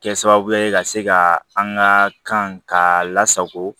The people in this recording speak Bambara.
Kɛ sababu ye ka se ka an ka kan k'a lasago